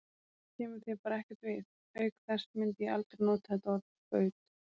Það kemur þér bara ekkert við, auk þess myndi ég aldrei nota þetta orð, skaut.